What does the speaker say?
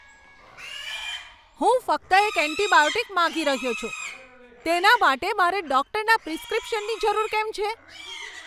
હું ફક્ત એક એન્ટિબાયોટિક માગી રહ્યો છું! તેના માટે મારે ડૉક્ટરના પ્રિસ્ક્રિપ્શનની જરૂર કેમ છે?